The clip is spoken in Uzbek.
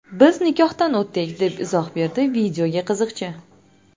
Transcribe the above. Biz nikohdan o‘tdik”, deb izoh berdi videoga qiziqchi.